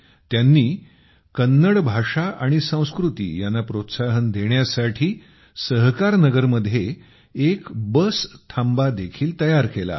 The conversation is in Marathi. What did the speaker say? त्यांनी कन्नड भाषा आणि संस्कृती यांना प्रोत्साहन देण्यासाठी सहकारनगर मध्ये एक बस थांबा देखील तयार केला आहे